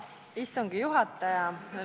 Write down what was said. Hea istungi juhataja!